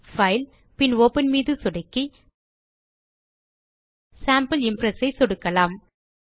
file பின் open மீது சொடுக்கி சேம்பிள் இம்ப்ரெஸ் ஐ சொடுக்கலாம்